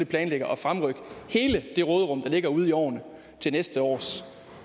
planlægger at fremrykke hele det råderum der ligger ude i årene til næste års